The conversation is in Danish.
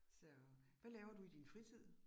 Så, hvad laver du i din fritid?